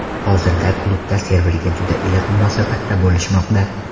Hozirda klubda Serverga juda iliq munosabatda bo‘lishmoqda.